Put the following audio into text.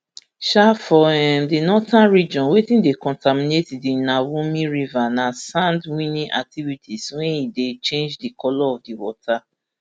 um for um di northern region wetin dey contaminate di nawumi river na sand winning activities wey e don change di colour of di water